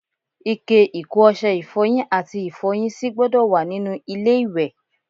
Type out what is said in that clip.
Ike ìkó ọṣẹ ifọyin àti Ifọ́yín sì gbọ́dọ̀ wá nínú ilé-iwẹ̀.